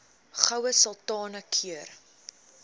goue sultana keur